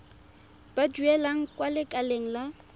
ba duelang kwa lekaleng la